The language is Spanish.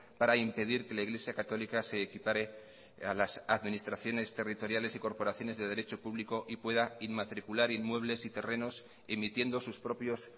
para impedir que la iglesia católica se equipare a las administraciones territoriales y corporaciones de derecho público y pueda inmatricular inmuebles y terrenos emitiendo sus propios